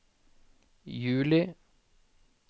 juli